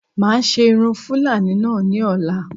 Máa ṣe irun Fúlàní náà ní ọ̀la